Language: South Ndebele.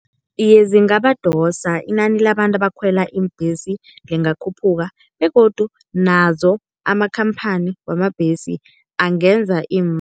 Iye zingabadosa, inani labantu abakhwela iimbhesi lingakhuphuka begodu nazo amakhamphani wamabhesi angenza